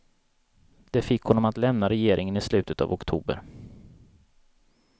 Det fick honom att lämna regeringen i slutet av oktober.